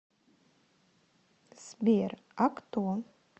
сбер а кто